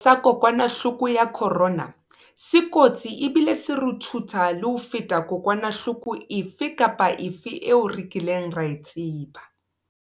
Sefefo sa kokwanahloko ya corona se kotsi ebile se ruthutha le ho feta kokwanahloko efe kapa efe eo re kileng ra e tseba.